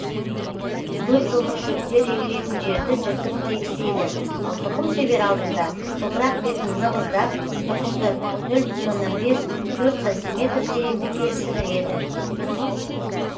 көп жылдық шөптер егілетін жерді жыртып тегістейді ал тұқым себер алдында топырақ бетін нығыздап тұқымды нөл бүтін оннан бес төрт сантиметр тереңдікке сіңіреді